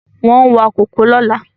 Wọ́n wa kòkó lọ́la